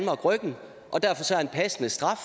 ryggen og at en passende straf